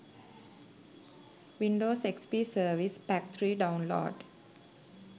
windows xp service pack 3 download